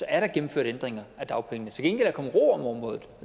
er der gennemført ændringer af dagpengene til gengæld er der kommet ro om området